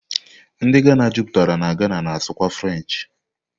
Ndi Ghana juputara na Ghana na-asụ kwa French